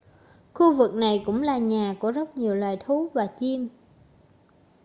khu vực này cũng là nhà của rất nhiều loài thú và chim